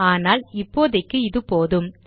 ஆனால் இப்போதைக்கு இது போதும்